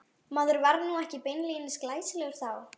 Maður var nú ekki beinlínis glæsilegur þá.